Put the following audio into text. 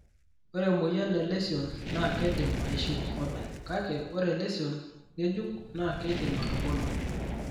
Ore emoyian e lesion naa keidim aishiu openy, kake ore lesion ng'ejuk naa keidim atubulu.